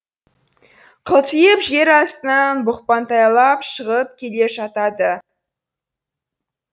қылтиып жер астынан бұқпантайлап шығып келе жатады